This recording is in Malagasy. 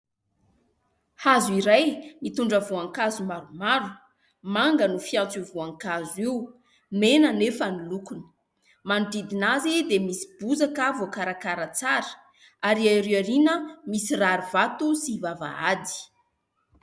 Hazo iray mitondra voankazo maromaro. Manga no fiantso io voankazo io. Mena anefa ny lokony. Manodidina azy dia misy bozaka voakarakara tsara ary ery aoriana misy rarivato sy vavahady.